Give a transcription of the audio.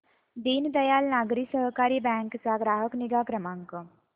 दीनदयाल नागरी सहकारी बँक चा ग्राहक निगा क्रमांक